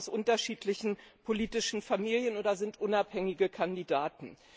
Sie kommen aus unterschiedlichen politischen Familien oder sind unabhängige Kandidaten.